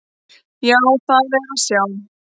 Já, það er að sjá.